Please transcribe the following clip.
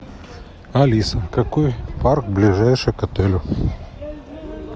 алиса какой парк ближайший к отелю